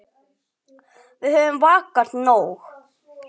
Við höfum vakað nóg.